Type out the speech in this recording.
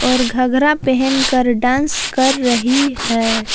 और घघरा पेहन कर डांस कर रही है।